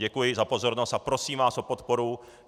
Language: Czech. Děkuji za pozornost a prosím vás o podporu.